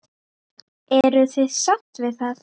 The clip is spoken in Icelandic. Eruð þið sátt við það?